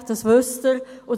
Das wissen Sie.